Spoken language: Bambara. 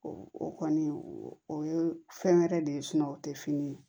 o kɔni o ye fɛn wɛrɛ de ye o tɛ fini ye